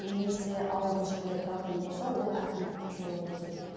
немесе ауылдық жерде тұратын болса ол әкімдікке жолығуы керек